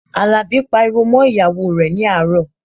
Àlàbí pariwo mọ́ ìyàwó rẹ̀ ní àárọ̀